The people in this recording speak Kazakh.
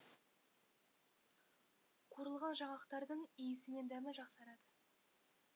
қуырылған жаңғақтардың иісі мен дәмі жақсарады